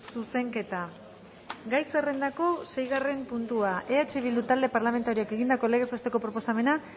zuzenketa gai zerrendako seigarren puntua eh bildu talde parlamentarioak egindako legez besteko proposamena